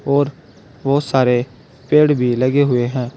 और बहुत सारे पेड़ भी लगे हुए हैं।